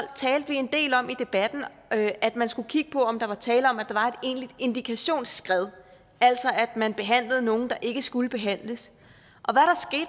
talte vi en del om at at man skulle kigge på om der var tale om at der var et egentligt indikationsskred altså at man behandlede nogle der ikke skulle behandles og